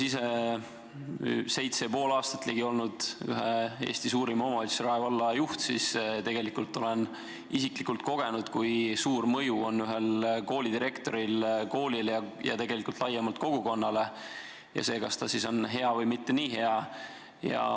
Olles ligi seitse ja pool aastat olnud ühe Eesti suurima omavalitsuse, Rae valla juht, olen isiklikult kogenud, kui suur mõju on koolidirektoril koolile ja tegelikult laiemalt kogukonnale ning kui suur mõju on sellel, kas ta siis on hea või mitte nii hea.